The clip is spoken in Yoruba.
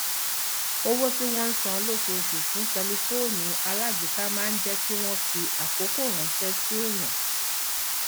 owó tí wọn ń san lóṣooṣù fún tẹlifóònù alágbèéká máa ń jẹ kí wọn fi àkókò ránṣẹ sí èèyàn